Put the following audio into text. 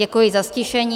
Děkuji za ztišení.